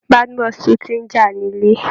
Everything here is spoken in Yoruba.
Badmus tún ti ń jà nílé